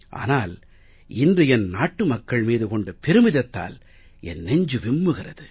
ஆனால் இன்று என் நாட்டு மக்கள் மீது கொண்ட பெருமிதத்தால் என் நெஞ்சு விம்முகிறது